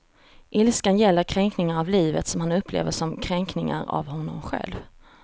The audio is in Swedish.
Ilskan gäller kränkningar av livet som han upplever som kränkningar av honom själv.